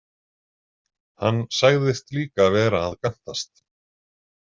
Hann sagðist líka vera að gantast.